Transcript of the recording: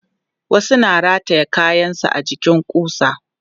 Wasu na rataye kayansu a jikin ƙusa.